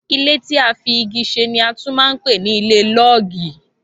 Ilé tí a fi igi ṣe ni a tún man pè ní ilé lọọgi